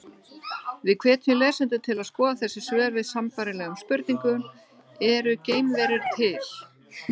Við hvetjum lesendur til að skoða þessi svör við sambærilegum spurningum: Eru geimverur til?